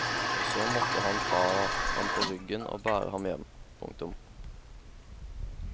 Og så måtte han ta ham på ryggen og bære ham hjem. punktum